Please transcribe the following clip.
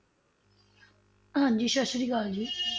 ਹਾਂਜੀ ਸਤਿ ਸ਼੍ਰੀ ਅਕਾਲ ਜੀ